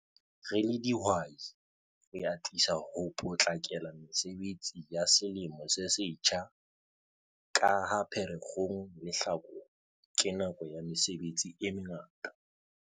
Re le dihwai, re atisa ho potlakela mesebetsi ya Selemo se Setjha ka ha Pherekgong le Hlakola ke nako ya mesebetsi e mengata.